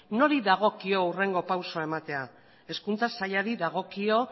nori dagokio hurrengo pausua ematea hezkuntza sailari dagokio